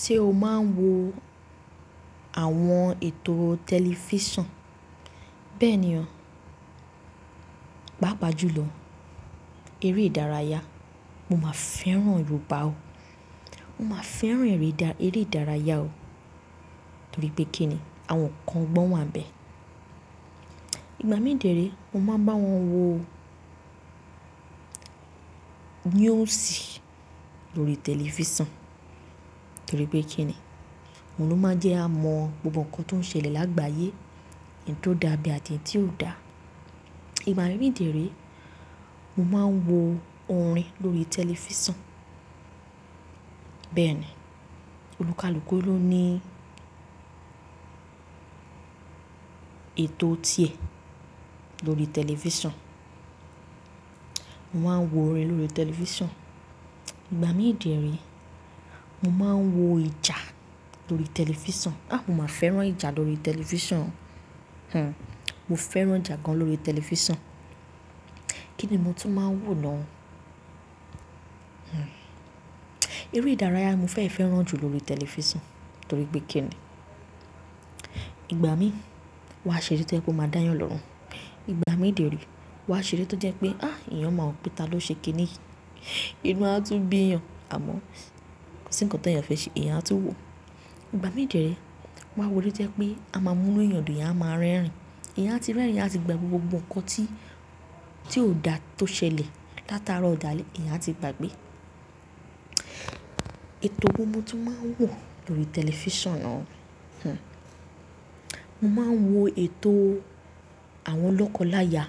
Ṣé o máa ń wo àwọn ètò tẹlifísàn? Bẹ́ẹ̀ni o. Pápa jùlọ eré ìdárayá mo máa ń fẹ́ràn Yorùbá o. Mo máa ń fẹ́ràn eré ìdárayá o torí pé kí ni àwọn nkan ogbọ́n wá ń bẹ. Ìgbà mí dìérè mo máa ń bá wọn wo news lórí tẹlifísàn torí pé kí ni mo ló máa ń jẹ́ a mọ gbogbo nǹkan tó ń ṣẹlẹ̀ lágbàáyé, èyí tó dà ibe àti èyí tí ò dà. Ìgbà mí dìérè mo máa ń wo orin lórí tẹlifísàn. Bẹ́ẹ̀ni, olùkalúkù ló ní ètò ti è lórí tẹlifísàn. Mo máa ń wo orin lórí tẹlifísàn. Ìgbà mí dìérè mo máa ń wo ìjà lórí tẹlifísàn. A! Mo máa fẹ́ràn ìjà lórí tẹlifísàn. Hmm, mo fẹ́ràn ìjà gan lórí tẹlifísàn. Kí ni mo tún máa ń wò na ọ́? Hmm, eré ìdárayá mo fẹ́ fẹ́ràn jù lórí tẹlifísàn torí pé kí ni ìgbà mí wà ṣe létí ẹ pé mo máa dá eeyàn lọ́run. Ìgbà mí dìérè wà ṣe létí ẹ pé a! Èyàn máa mọ̀ pé ta ló ṣe kíni yìí. Ìnú a tú ń bí èyàn, àmọ́ kosi nǹkan ti eeyàn fẹ́ ṣe èyàn a tú ń wò. Ìgbà mí dìérè mà wo ére tí o jẹ pé a máa mú inú èyàn dùn, èyàn a máa rẹ́rìn-ín. Èyàn a ti rẹ́rìn-ín, èyàn a ti gbagbe gbogbo nǹkan tí, tí ò dà tó ṣẹlẹ̀ látara ọ̀dàlè èyàn a ti gbàgbé. Ètò wo mo tún máa ń wò lórí tẹlifísàn náà? Hmm, mo máa ń wo ètò àwọn lọ́kọláya.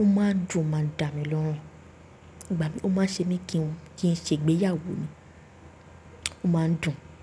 Ó máa ń dùn, ó máa ń dà mí lọ́run. Ìgbà mí ó máa ń ṣe mí kí n ṣe ìgbéyàwó mi, ó máa ń dùn.